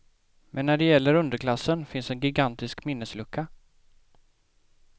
Men när det gäller underklassen finns en gigantisk minneslucka.